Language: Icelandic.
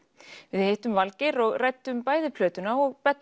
við hittum Valgeir og ræddum bæði plötuna og